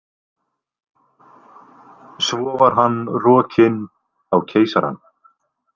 Svo var hann rokinn á Keisarann.